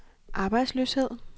arbejdsløshed